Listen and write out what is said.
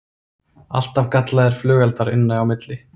Alltaf gallaðir flugeldar inn á milli